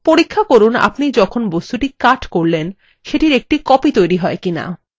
পরীক্ষা করুন আপনি যখন বস্তুটি cut করলেন সেটির একটি copy তৈরী হয় কি না